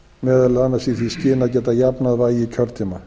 meðal annars í því skyni að geta jafnað vægi kjördæma